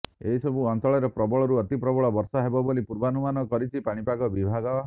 ଏହି ସବୁ ଅଞ୍ଚଳରେ ପ୍ରବଳରୁ ଅତି ପ୍ରବଳ ବର୍ଷା ହେବ ବୋଲି ପୂର୍ବାନୁମାନ କରିଛି ପାଣିପାଗ ବିଭାଗ